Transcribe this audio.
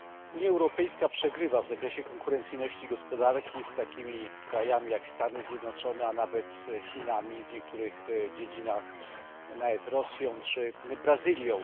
Unia Europejska przegrywa w zakresie konkurencyjności gospodarki z takimi krajami jak Stany Zjednoczone, a nawet Chinami, w niektórych dziedzinach nawet z Rosją czy Brazylią.